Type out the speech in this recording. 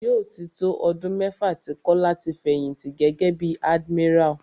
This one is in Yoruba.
Yóò tí tó ọdún mẹ́fà tí Kọ́lá ti fẹ̀yìnti gẹ́gẹ́ bí admiral.